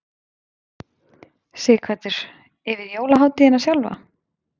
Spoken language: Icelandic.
Sighvatur: Yfir jólahátíðina sjálfa?